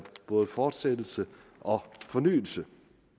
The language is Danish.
fortsættelse og fornyelse